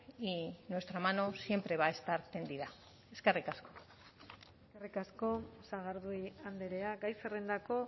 y nuestra mano siempre va a estar tendida eskerrik asko eskerrik asko sagardui andrea gai zerrendako